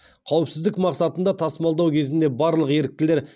қауіпсіздік мақсатында тасымалдау кезінде барлық еріктілер